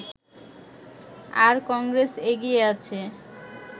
আর কংগ্রেস এগিয়ে আছে